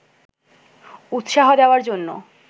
উৎসাহ দেওয়ার জন্য